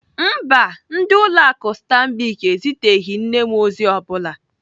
Mba, ndị ụlọ akụ Stanbic eziteghị nne m ozi ọ bụla.